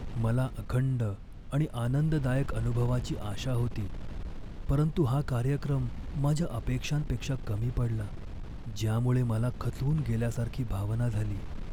मला अखंड आणि आनंददायक अनुभवाची आशा होती, परंतु हा कार्यक्रम माझ्या अपेक्षांपेक्षा कमी पडला, ज्यामुळे मला खचून गेल्यासारखी भावना झाली.